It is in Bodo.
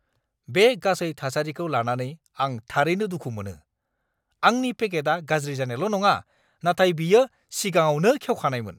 बे गासै थासारिखौ लानानै आं थारैनो दुखु मोनो। आंनि पेकेटआ गाज्रि जानायल' नङा, नाथाय बेयो सिगाङावनो खेवखानायमोन!